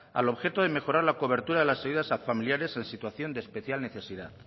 al objeto de mejorar la cobertura de las ayudas a familiares en situación de especial necesidad